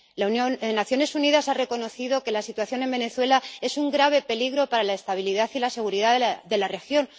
Las Naciones Unidas han reconocido que la situación en Venezuela es un grave peligro para la estabilidad y la seguridad de la región.